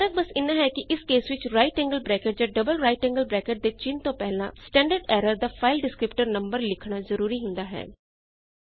ਫਰਕ ਬੱਸ ਐਨਾ ਹੈ ਕਿ ਇਸ ਕੇਸ ਵਿੱਚ ਰਾਈਟ ਐਂਗਲ ਬਰੈਕਟ ਜਾਂ ਡਬਲ ਰਾਈਟ ਐਂਗਲ ਬਰੈਕਟ ਦੇ ਚਿੰਨ ਤੋਂ ਪਹਿਲਾਂ ਸਟੈਂਡਰਡ ਐਰਰ ਦਾ ਫਾਈਲ ਡਿਸਕ੍ਰਿਪਟਰ ਨੰਬਰ ਲਿਖਣਾ ਜ਼ਰੂਰੀ ਹੁੰਦਾ ਹੈ